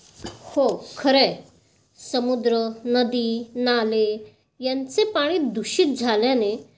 हो, खरं आहे. समुद्र, नदी, नाले यांचे पानी दूषित झाल्याने